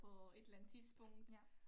På et eller andet tidspunkt